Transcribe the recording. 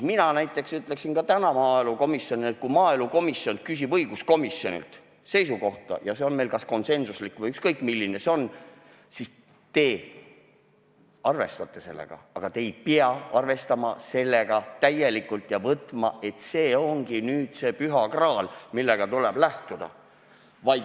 Näiteks mina ütleksin ka täna maaelukomisjonile, et kui maaelukomisjon küsib õiguskomisjonilt seisukohta ja see on meil kas konsensuslik või ükskõik milline, siis teie arvestate sellega, aga te ei pea arvestama seda täielikult ja suhtuma sellesse nii, et see ongi nüüd see püha graal, millest tuleb lähtuda.